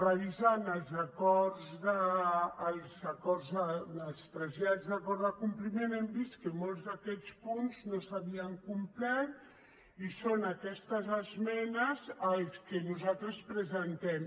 revisant els trasllats d’acord de compliment hem vist que molts d’aquests punts no s’havien complert i són aquestes esmenes les que nosaltres presentem